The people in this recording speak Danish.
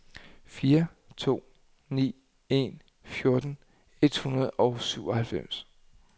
fire to ni en fjorten et hundrede og syvoghalvfems